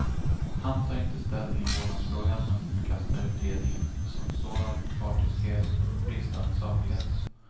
Han tar inte ställning i vårdnadsfrågan, men förkastar utredningen som sådan för partiskhet och bristande saklighet.